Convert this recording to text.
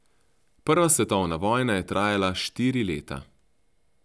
Prva svetovna vojna je trajala štiri leta.